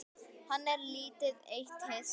Hann er lítið eitt hissa.